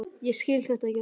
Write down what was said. Ég skil þetta ekki alveg.